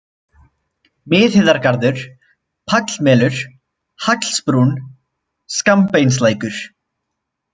Miðheiðargarður, Pallmelur, Hallsbrún, Skammbeinslækur